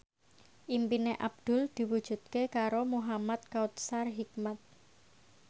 impine Abdul diwujudke karo Muhamad Kautsar Hikmat